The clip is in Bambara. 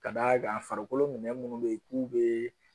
Ka d'a kan farikolo minɛn munnu bɛ ye k'u be